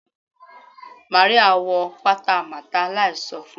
Maria wọ pata Martha láì so fun